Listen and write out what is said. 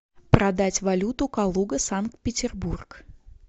продать валюту калуга санкт петербург